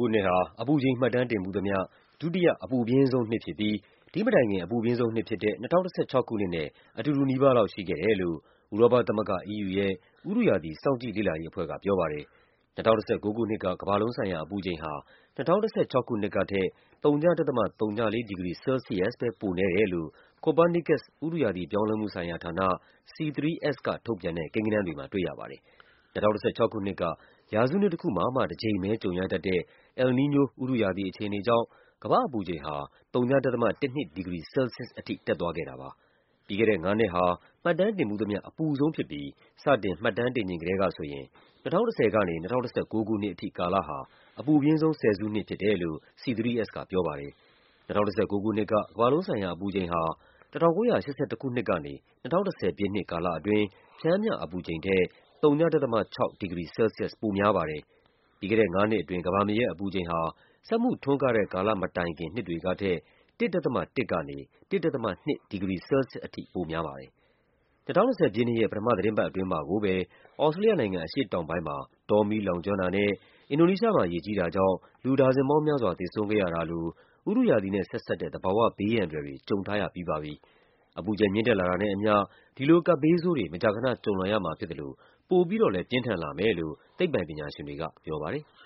ခုနှစ်ဟာ အပူချိန် မှတ်တမ်းတင်ဖူးသမျှ ဒုတိယ အပူပြင်းဆုံးနှစ်ဖြစ်ပြီး ဒီ့မတိုင်ခင် အပူပြင်းဆုံးနှစ်ဖြစ်တဲ့ ၂၀၁၆ ခုနှစ်နဲ့ အတူတူနီးပါးလောက် ရှိခဲ့တယ်လို့ ဥရောပသမဂ္ဂ EU ရဲ့ ဥတုရာသီစောင့်ကြည့်လေ့လာရေးအဖွဲ့က ပြောပါတယ်။ ၂၀၁၉ ခုနှစ်က ကမ္ဘာလုံးဆိုင်ရာ အပူချိန်ဟာ ၂၀၁၆ ခုနှစ်ကထက် ဝ.၀၄ ဒီဂရီဆဲလ်ဆီးယပ်စ်ပဲ ပိုနည်းတယ်လို့ Copernicus ဥတုရာသီပြောင်းလဲမှုဆိုင်ရာဌာန (C3S) က ထုတ်ပြန်တဲ့ ကိန်းဂဏန်းတွေမှာ တွေ့ရပါတယ်။ ၂၀၁၆ ခုနှစ်က ရာစုနှစ်တခုမှာမှ တကြိမ်ပဲကြုံရတတ်တဲ့ El Nino ဥတုရာသီအခြေအနေကြောင့် ကမ္ဘာ့အပူချိန်ဟာ ၀ ဒသမ ၁၂ ဒီဂရီ ဆဲလ်ဆီးယပ်စ်အထိ တက်သွားခဲ့ တာပါ။ ပြီးခဲ့တဲ့ငါးနှစ်ဟာ မှတ်တမ်းတင်ဖူးသမျှ အပူဆုံးဖြစ်ပြီး စတင် မှတ်တမ်းတင်ချိန် ကတည်းကဆိုရင် ၂၀၁၀ ကနေ ၂၀၁၉ ခုနှစ်အထိ ကာလဟာ အပူပြင်းဆုံး ဆယ်စုနှစ် ဖြစ်တယ်လို့ C3S ကပြောပါတယ်။ ၂၀၁၉ ခုနှစ်က ကမ္ဘာလုံးဆိုင်ရာ အပူချိန်ဟာ ၁၉၈၁ ခုနှစ်ကနေ ၂၀၁၀ ပြည့်နှစ်ကာလအတွင်း ပျှမ်းမျှအပူချိန်ထက် ၀ ဒသမ ၆ ဒီဂရီ ဆဲလ်ဆီးယပ်စ် ပိုများပါတယ်။ ပြီးခဲ့တဲ့ငါးနှစ်အတွင်း ကမ္ဘာမြေရဲ့အပူချိန်ဟာ စက်မှုထွန်းကားတဲ့ ကာလမတိုင်ခင် နှစ်တွေကထက် ၁ ဒသမ ၁ ကနေ ၁ ဒသမ ၂ ဒီဂရီဆဲလ်ဆီးယပ်စ်အထိ ပိုများပါတယ်။ ၂၀၂၀ ပြည့်နှစ်ရဲ့ ပထမ သီတင်းပတ် အတွင်းမှာကိုပဲ သြစတြေးလျနိုင်ငံ အရှေ့တောင်ပိုင်းမှာ တောမီးလောင်ကျွမ်းတာနဲ့ အင်ဒိုနီးရှားမှာ ရေကြီးတာကြောင့် လူဒါဇင်ပေါင်းများစွာ သေဆုံးခဲ့ရတာလို ဥတုရာသီနဲ့ ဆက်စပ်တဲ့ သဘာဝဘေးအန္တရာယ်တွေ ကြုံထား ရပြီးပါပြီ။ အပူချိန်မြင့်တက်လာတာနဲ့ အမျှ ဒီလို ကပ်ဘေးဆိုးတွေ မကြာခန ကြုံလာရမှာဖြစ်သလို ပိုပြီးတော့လည်း ပြင်းထန်လာမယ်လို့ သိပ္ပံ ပညာရှင်တွေက ပြောပါတယ်။